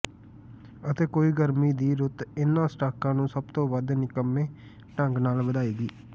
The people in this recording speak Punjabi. ਅਤੇ ਕੋਈ ਗਰਮੀ ਦੀ ਰੁੱਤ ਇਨ੍ਹਾਂ ਸਟਾਕਾਂ ਨੂੰ ਸਭ ਤੋਂ ਵੱਧ ਨਿਕੰਮੇ ਢੰਗ ਨਾਲ ਵਧਾਏਗੀ